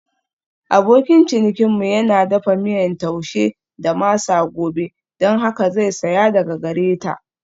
Abokin cinikinmu yana dafa miyan Taushe da masa gobe don haka zai saya daga gare ta.